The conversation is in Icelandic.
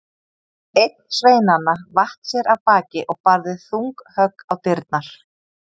Einn sveinanna vatt sér af baki og barði þung högg á dyrnar.